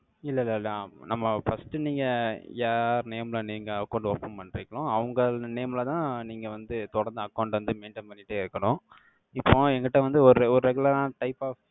இல்லை, இல்லை, இல்லை, நம்ம first நீங்க, யார் name ல நீங்க account open பண்றீங்களோ, அவங்கள் name லதான், நீங்க வந்து, தொடர்ந்து account வந்து maintain பண்ணிட்டே இருக்கணும். இப்போ, என்கிட்ட வந்து, ஒரு, ஒரு regular ஆன, type of